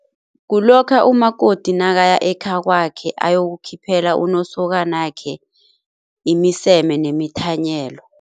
Kulokha umakoti nakaya ekhakwakhe ayokukhiphela unosokanakhe imiseme nemithanyelo.